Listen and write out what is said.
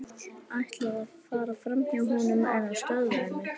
Ætlaði að fara framhjá honum en hann stöðvaði mig.